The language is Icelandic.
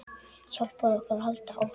Hjálpar okkur að halda áfram.